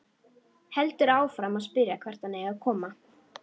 Heldur áfram að spyrja hvert hann eigi að koma.